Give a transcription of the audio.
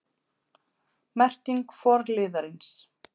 Merking forliðarins